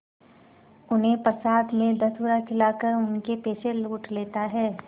उन्हें प्रसाद में धतूरा खिलाकर उनके पैसे लूट लेता है